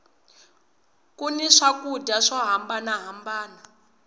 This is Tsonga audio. ku ni swakudya swo hambana hambana